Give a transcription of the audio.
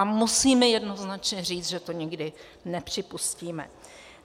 A musíme jednoznačně říct, že to nikdy nepřipustíme.